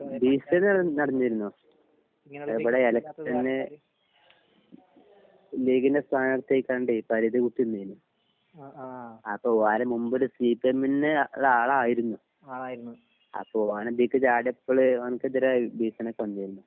ആ ഭീഷണി നട നടന്നിരുന്നു ആ ഇബ്ടെ എലെക്ഷൻ ലീഗിന്റെ സ്ഥാനാർഥി ആയ്കാണ്ടെ പരിധി വുട്ട് നിന്നിന്നു അപ്പൊ വേറെ മുമ്പൊരു സി പി എമിന് ഒരാളായിരുന്നു അപ്പൊ ഓന് ഇതിക്ക് ചാടിയപ്പൾ ഓന്ക്ക് എതിരെ ഭീഷണിയൊക്കെ വന്നിരുന്നു